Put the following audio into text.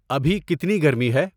ابھی کتنی گرمی ہے؟